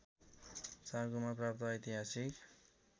चाँगुमा प्राप्त ऐतिहासिक